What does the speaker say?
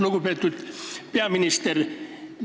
Lugupeetud peaminister!